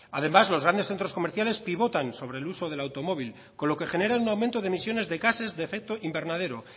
además los grandes centros comerciales pivotan sobre el uso del automóvil con lo que generan un aumento de emisiones de gasees de efecto invernadero